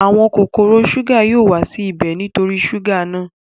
Àwọn kòkòrò súgà yóò wá sí ibẹ̀ nítorí súgà náà